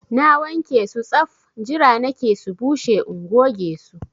Na wanke su saf! Jira nake su bushe in goge su